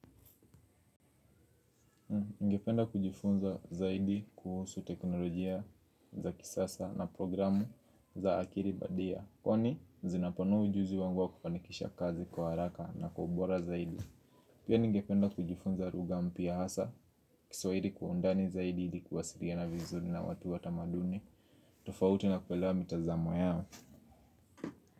Ningependa kujifunza zaidi kuhusu teknolojia za kisasa na programu za akili bandia kwani zinapanua ujuzi wangu wa kufanikisha kazi kwa haraka na kwa ubora zaidi. Pia ningependa kujifunza lugha mpya hasa Kiswahili kwa undani zaidi hili kuwasiliana vizuri na watu watamaduni tofauti na kuelewa mitazamo yao.